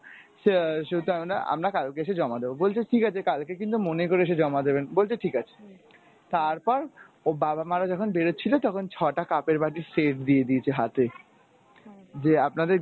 সে~ সেহেতু আমরা আমরা কালকে এসে জমা দেব। বলছে ঠিকাছে কালকে কিন্তু মনে করে এসে জমা দেবেন। বলছে ঠিকাছে। তারপর বাবা মারা যখন বেরুচ্ছিল তখন ছয়টা cup এর বাটির set দিয়ে দিয়েছিল হাতে যে আপনাদের gift.